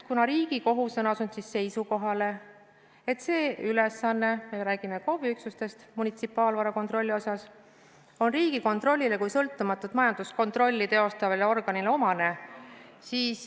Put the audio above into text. Riigikohus on asunud seisukohale, et see ülesanne – me räägime KOV-i üksustest, munitsipaalvara kasutamise kontrollist – on Riigikontrollile kui sõltumatut majanduskontrolli teostavale organile omane.